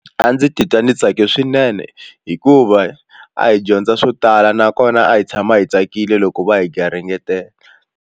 A ndzi titwa ndzi tsake swinene hikuva a hi dyondza swo tala nakona a hi tshama hi tsakile loko va hi garingetela.